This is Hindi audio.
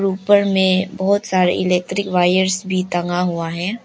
उपर में बहुत सारी इलेक्ट्रिक वायर्स भी टंगा हुआ है।